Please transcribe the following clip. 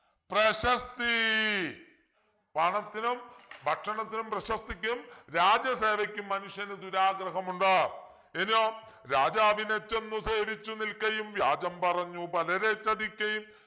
പ്രശസ്തീ പണത്തിനും ഭക്ഷണത്തിനും പ്രശസ്തിക്കും രാജസേവയ്ക്കും മനുഷ്യന് ദുരാഗ്രഹമുണ്ട് ഇനിയൊ രാജാവിനെച്ചെന്നു സേവിച്ചു നിൽക്കയും വ്യാജം പറഞ്ഞു പലരെ ചതിക്കയും